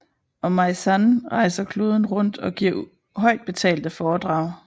Og Meyssan rejser kloden rundt og giver højtbetalte foredrag